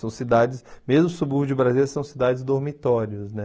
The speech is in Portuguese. São cidades, mesmo subúrbio de Brasília, são cidades dormitórias, né?